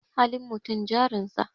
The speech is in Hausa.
Halin mutum jarin sa.